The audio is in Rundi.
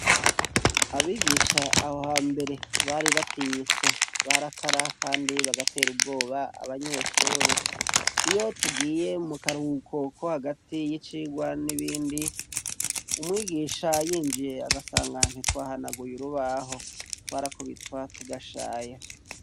Abigisha ahohambere Bari batinyitse barakara kandi bagatera ubwoba abanyeshure. Iyo tugiye mukaruhuko kohagati y'icigwa nibindi ,umwigisha yinjiye, agasanga ntitwahanaguye urubaho twarakubitwa tugashaya.